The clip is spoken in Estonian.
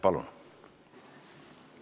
Palun!